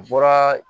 U bɔra